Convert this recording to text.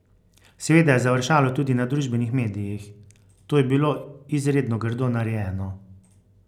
Seveda je završalo tudi na družbenih medijih: 'To je bilo izredno grdo narejeno.